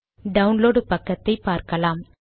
download பக்கத்தை பார்க்கலாம்